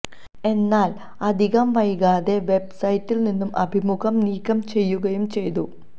എന്നാല് അധികം വൈകാതെ വെബ്സൈറ്റില് നിന്നും അഭിമുഖം നീക്കം ചെയ്യുകയും ചെയ്തു